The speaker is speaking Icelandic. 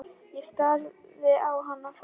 Ég starði á hann, frá mér numin.